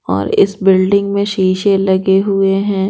और इस बिल्डिंग में शीशे लगे हुए हैं।